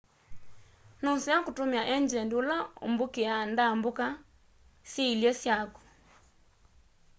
nuseo kutumia engyendi ula umbukiaa ndambuka syiilye syaku